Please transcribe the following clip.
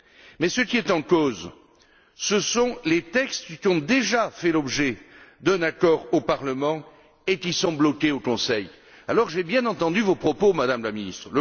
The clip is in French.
Mais ce qui est en cause, ce sont les textes qui ont déjà fait l'objet d'un accord au Parlement et qui sont bloqués au Conseil. Alors j'ai bien entendu vos propos, Madame la ministre.